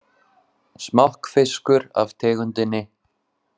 Smokkfiskur af tegundinni